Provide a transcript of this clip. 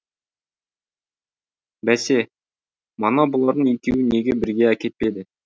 бәсе мана бұлардың екеуін неге бірге әкетпеді